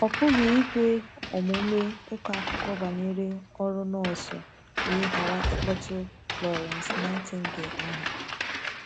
Ọ pụghị ikwe omume ịkọ akụkọ banyere ọrụ nọọsụ wee ghara ịkpọtụ Florence Nightingale aha..